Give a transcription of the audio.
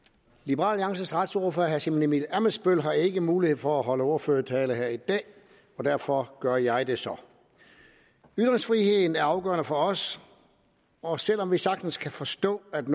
liberal alliances retsordfører herre simon emil ammitzbøll har ikke mulighed for at holde ordførertale i dag og derfor gør jeg det så ytringsfriheden er afgørende for os og selv om vi sagtens kan forstå at